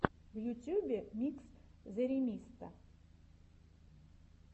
в ютюбе микс зэремисто